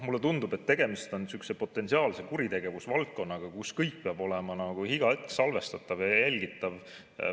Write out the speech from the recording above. Mulle tundub, et tegemist oleks nagu sihukese potentsiaalse kuritegevusvaldkonnaga, kus kõik peab olema iga hetk salvestatav ja jälgitav.